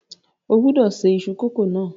O gbọ́dọ̀ ṣe iṣu kókò náà